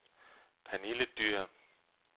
Pernille Dyhr